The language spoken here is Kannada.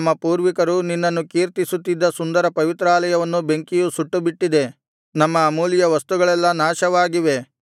ನಮ್ಮ ಪೂರ್ವಿಕರು ನಿನ್ನನ್ನು ಕೀರ್ತಿಸುತ್ತಿದ್ದ ಸುಂದರ ಪವಿತ್ರಾಲಯವನ್ನು ಬೆಂಕಿಯು ಸುಟ್ಟುಬಿಟ್ಟಿದೆ ನಮ್ಮ ಅಮೂಲ್ಯ ವಸ್ತುಗಳೆಲ್ಲಾ ನಾಶವಾಗಿವೆ